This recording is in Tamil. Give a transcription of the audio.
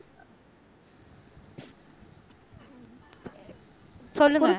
சொல்லுங்க